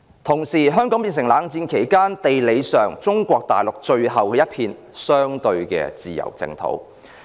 同時，香港變成冷戰期間中國大陸在地理上最後一片相對自由的淨土。